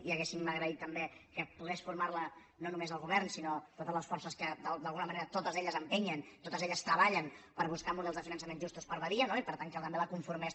i hauríem agraït també que pogués formar la no només el govern sinó totes les forces que d’alguna manera totes elles empenyen totes elles treballen per buscar models de finançament justos per a badia no i per tant que també la conformés